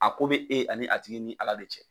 A ko bɛ e ani a tigi ni ala de cɛ